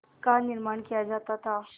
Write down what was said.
का निर्माण किया जाता था